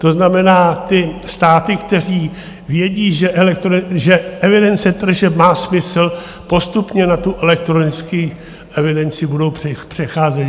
To znamená, ty státy, které vědí, že evidence tržeb má smysl, postupně na tu elektronickou evidenci budou přecházet.